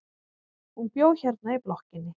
Hún bjó hérna í blokkinni.